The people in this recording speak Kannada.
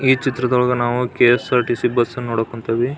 ಈ ಚಿತ್ರದೊಳಗೆ ನಾವು ಕೆ.ಎಸ್.ಆರ್.ಟಿ.ಸಿ ಬಸ್ ನ್ನು ನೋಡಕ್ ಕುಂತೀವಿ.